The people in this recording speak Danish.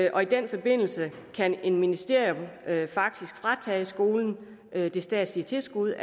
og i den forbindelse kan ministeriet faktisk fratage skolen det statslige tilskud